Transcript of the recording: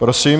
Prosím.